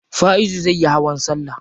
Faizu zai yi hawan salla.